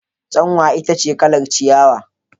Tsanwa ita ce kalar ciyawa.